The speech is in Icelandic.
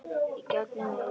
Í gegnum eyrun.